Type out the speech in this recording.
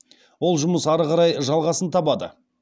ол жұмыс ары қарай жалғасын табады